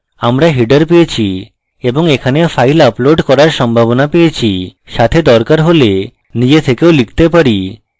আমরা header পেয়েছি এবং এখানে file upload করার সম্ভাবনা পেয়েছি সাথে দরকার হলে নিজে থেকেও লিখতে পারি